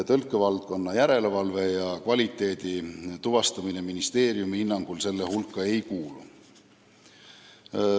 Tõlkevaldkonna järelevalve ja kvaliteedi tuvastamine ministeeriumi hinnangul nende hulka ei kuulu.